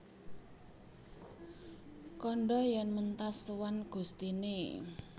Kandha yèn mentas sowan gustiné